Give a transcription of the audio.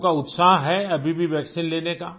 लोगों का उत्साह है अभी भी वैक्सीन लेने का